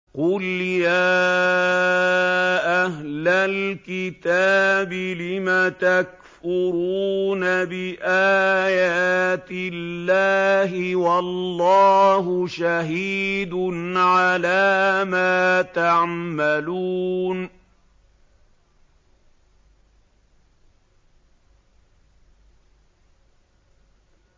قُلْ يَا أَهْلَ الْكِتَابِ لِمَ تَكْفُرُونَ بِآيَاتِ اللَّهِ وَاللَّهُ شَهِيدٌ عَلَىٰ مَا تَعْمَلُونَ